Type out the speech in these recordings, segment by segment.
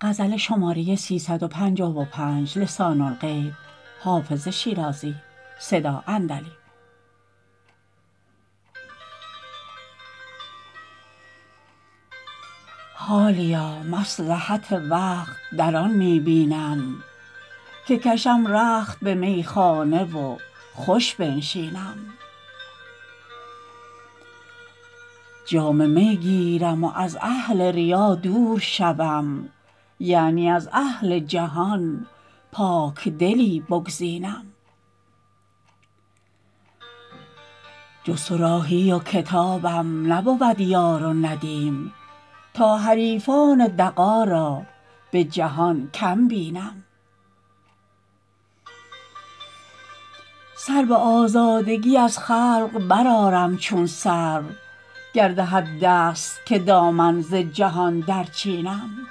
حالیا مصلحت وقت در آن می بینم که کشم رخت به میخانه و خوش بنشینم جام می گیرم و از اهل ریا دور شوم یعنی از اهل جهان پاکدلی بگزینم جز صراحی و کتابم نبود یار و ندیم تا حریفان دغا را به جهان کم بینم سر به آزادگی از خلق برآرم چون سرو گر دهد دست که دامن ز جهان درچینم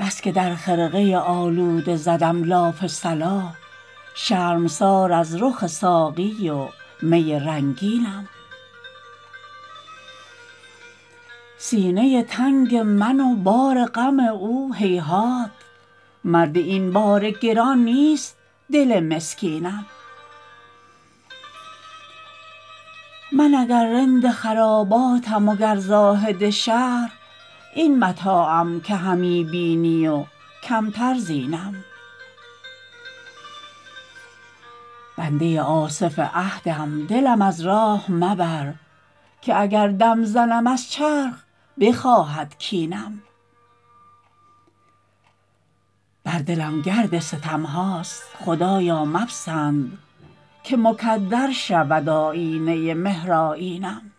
بس که در خرقه آلوده زدم لاف صلاح شرمسار از رخ ساقی و می رنگینم سینه تنگ من و بار غم او هیهات مرد این بار گران نیست دل مسکینم من اگر رند خراباتم و گر زاهد شهر این متاعم که همی بینی و کمتر زینم بنده آصف عهدم دلم از راه مبر که اگر دم زنم از چرخ بخواهد کینم بر دلم گرد ستم هاست خدایا مپسند که مکدر شود آیینه مهرآیینم